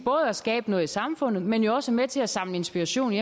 at skabe noget i samfundet men jo også er med til at samle inspiration